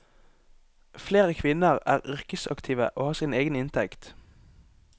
Flere kvinner er yrkesaktive og har sin egen inntekt.